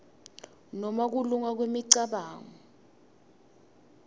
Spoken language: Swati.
nobe kulunga kwemicabango